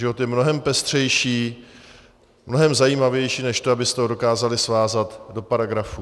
Život je mnohem pestřejší, mnohem zajímavější než to, abyste ho dokázali svázat do paragrafů.